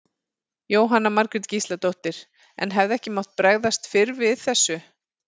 Jóhanna Margrét Gísladóttir: En hefði ekki mátt bregðast fyrr við þessu?